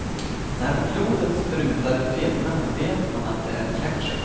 När blodet sprutar i filmerna vet man att det är ketchup.